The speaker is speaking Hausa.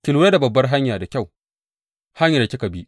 Ki lura da babbar hanya da kyau, hanyar da kika bi.